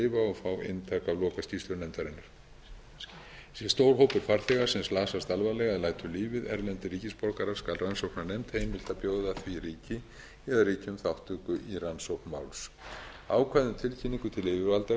og fá eintak af lokaskýrslu nefndarinnar sé stór hópur farþega sem slasast alvarlega eða lætur lífið erlendir ríkisborgarar skal rannsóknarnefnd heimilt að bjóða því ríki eða ríkjum þátttöku í rannsókn máls ákvæðum um tilkynningu til yfirvalda